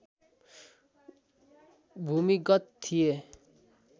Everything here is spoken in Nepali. भूमिगत थिए